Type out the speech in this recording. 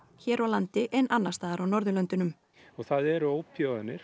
hér á landi en annars staðar á Norðurlöndunum það eru